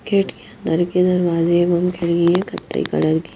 gate के अन्दर के दरवाजे कतई कलर की--